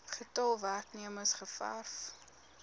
getal werknemers gewerf